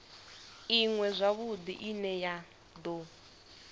iṅwe zwavhudi ine ya do